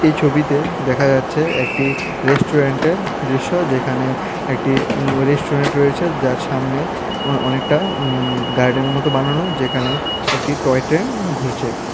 এই ছবিতে দেখা যাচ্ছে একটি রেস্টুরেন্টের দৃশ্য যেখানে একটি উঁ রেস্টুরেন্ট রয়েছে যার সামনে অ অনেকটা উঁ উঁ গার্ডেনের মতো বানানো যেখানে একটি টয় ট্রেন ঘুরছে।